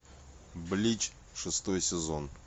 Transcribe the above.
блич шестой сезон